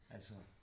Altså